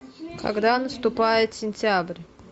когда наступает сентябрь